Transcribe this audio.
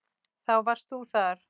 Þá varst þú þar.